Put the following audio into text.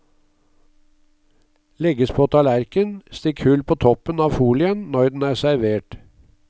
Legges på tallerken, stikk hull på toppen av folien når den er servert.